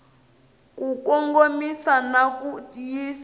ku kongomisa na ku yisa